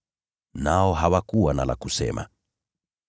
Nao hawakuwa na la kusema.